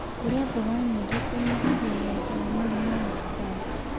Kũrĩa mmboga nyĩngĩ kũnyĩhagĩa ũgwatĩ wa mũrĩmũ wa cũkarĩ